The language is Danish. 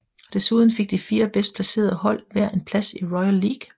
Desuden fik de fire bedst placerede hold hver en plads i Royal League